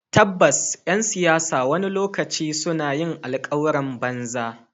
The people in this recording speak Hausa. Tabbas ’yan siyasa wani lokaci suna yin alkawuran banza.